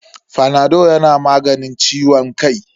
Fanado yana maganin ciwon kai.